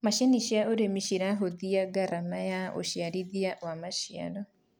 macinĩ cia ũrĩmi ciranyihia garama ya uciarithia wa maciaro